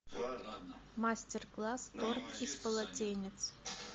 мастер класс торт из полотенец